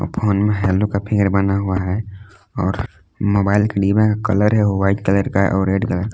Phone में hello का figure बना हुआ है और मोबाइल के डिब्बा का कलर है वाइट कलर का और रेड कलर का।